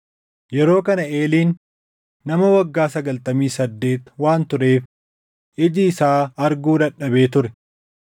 yeroo kana Eeliin nama waggaa sagaltamii saddeet waan tureef iji isaa arguu dadhabee ture.